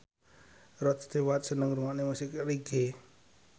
Rod Stewart seneng ngrungokne musik reggae